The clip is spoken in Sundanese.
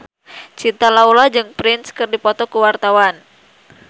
Cinta Laura jeung Prince keur dipoto ku wartawan